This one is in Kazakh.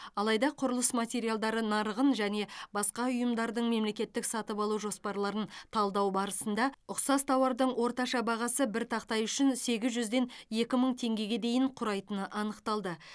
алайда құрылыс материалдары нарығын және басқа ұйымдардың мемлекеттік сатып алу жоспарларын талдау барысында ұқсас тауардың орташа бағасы бір тақтай үшін сегіз жүзден екі мың теңгеге дейін құрайтыны анықталды